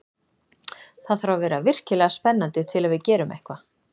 Það þarf að vera virkilega spennandi til að við gerum eitthvað.